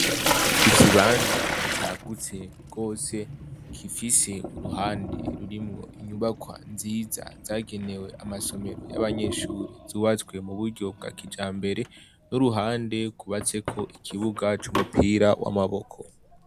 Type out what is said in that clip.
Ikibanza cagutse rwose gifise uruhande rurimwo inyubakwa nziza zagenewe amasomero y'abanyeshure zubatswe mu buryo bwa kijambere n'uruhande rwubatseko ikibuga c'umupira w'amaboko